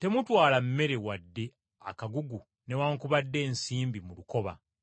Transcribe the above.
“Temutwala mmere wadde akagugu newaakubadde ensimbi mu lukoba.